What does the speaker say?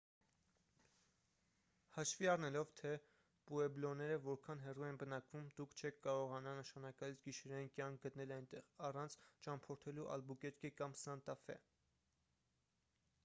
հաշվի առնելով թե պուեբլոները որքան հեռու են բնակվում դուք չեք կարողանա նշանակալից գիշերային կյանք գտնել այնտեղ առանց ճամփորդելու ալբուկերկե կամ սանտա ֆե